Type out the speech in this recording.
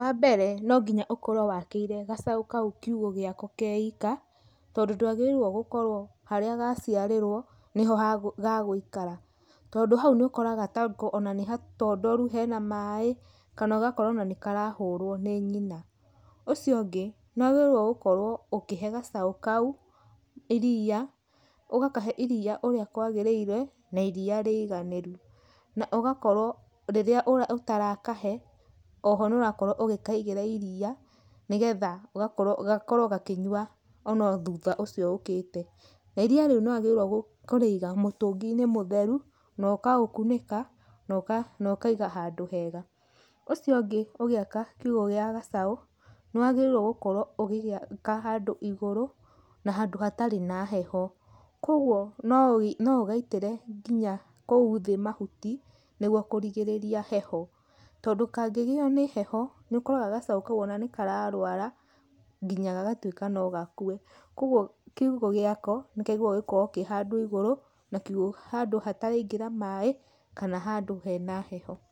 Wa mbere, no nginya ũkorwo wa kĩire gacaũ kau kiugo gĩako kaika, tondũ ndwagĩrĩire gũkorwo haria gaciarĩrwo nĩho gegwĩikara, tondũ hau nĩ ũkoraga tongũ nĩ hatondoru hena maaĩ, kana ũgakora ona nĩ karahũrwo nĩ nyina, ũcio ũngĩ nĩ wagĩrĩrwo gũkorwo ũkĩhe gacaũ kau iria, ugakahe iria ũria kwagĩrĩire na iria rĩiganĩru, na ũgakorwo rĩrĩa ũra ũtarakahe, oho nĩ ũrakorwo ũgĩkaigĩra iria nĩgetha ũgakorwo ,gakorwo gakĩnyua ona thutha ũcio okĩte, na iria rĩu nĩ wagĩrĩrwo korĩiga mũtũginĩ mũtheru na ũkaũkunĩka, naũkaiga handũ hega, ũcio ũngĩ ũgĩka kiugo gĩa gacaũ nĩ wagĩrĩrwo gũkorwo ũgĩgĩka handũ igũrũ, na handũ hatarĩ na heho, kwoguo no ũgaitĩre ngiya kũu thĩ mahuti, nĩguo kũrigĩrĩria heho, tondũ kangĩgĩo nĩ heho, nĩ ũkoraga gacaũ kau nĩ kararwara nginya gagatwĩka no gakwe, kwoguo kiugo gĩako nĩkĩagĩrĩrwo gũkorwo kĩhandũ igũrũ, na kiugo handũ hataraingĩra maaĩ, kana handũ hena heho.